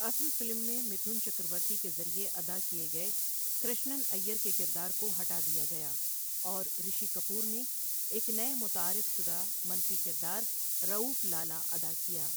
اصل فلم میں متھن چکرورتی کے ذریعے ادا کیے گئے کرشنن ائیر کے کردار کو ہٹا دیا گیا اور رشی کپور نے ایک نئے متعارف شدہ منفی کردار، رؤف لالہ، ادا کیا۔